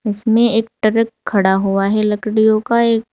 इसमें एक ट्रक खड़ा हुआ है लकड़ियों का एक--